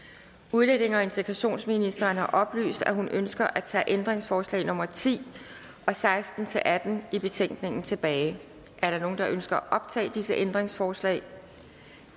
udlændinge og integrationsministeren har oplyst at hun ønsker at tage ændringsforslag nummer ti og seksten til atten i betænkningen tilbage er der nogen der ønsker at optage disse ændringsforslag